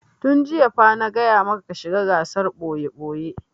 Tun jiya fa na gaya maka ka shiga gasar ɓoye-ɓoye!